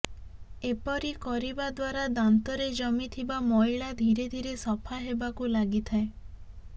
ଏପରି କରିାବ ଦ୍ବାରା ଦାନ୍ତରେ ଜମି ଥିବା ମଇଳା ଧୀରେ ଧୀରେ ସଫା ହେବାକୁ ଲାଗିଥାଏ